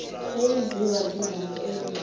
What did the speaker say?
eyenziwa ngezandla eyingxenye